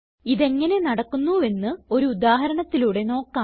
ഇതെങ്ങനെ നടക്കുന്നുവെന്ന് ഒരു ഉദാഹരണത്തിലൂടെ നോക്കാം